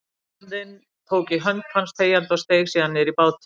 Baróninn tók í hönd hans þegjandi og steig síðan niður í bátinn.